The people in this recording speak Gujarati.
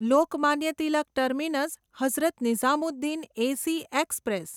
Lokmanya Tilak terminus Hazrat Nizamuddin AC express